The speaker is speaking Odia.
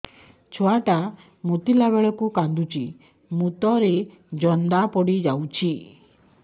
ଛୁଆ ଟା ମୁତିଲା ବେଳକୁ କାନ୍ଦୁଚି ମୁତ ରେ ଜନ୍ଦା ପଡ଼ି ଯାଉଛି